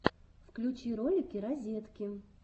включи ролики розетки